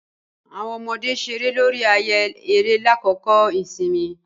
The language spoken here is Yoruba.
Awọn ọmọde ṣere lori ààyè eré lakoko ìsinmi.